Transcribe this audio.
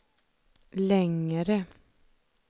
längre